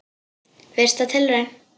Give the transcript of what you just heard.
Fyrsta tilraun